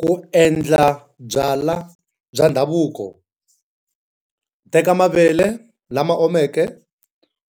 Ku endla byalwa bya ndhavuko. Teka mavele lama omeke